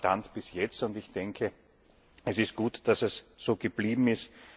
Das war der Stand bis jetzt, und es ist gut, dass es so geblieben ist.